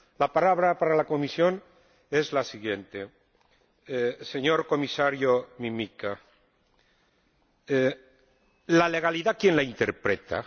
La palabra para la Comisión es la siguiente señor Comisario Mimica, la legalidad, ¿quién la interpreta?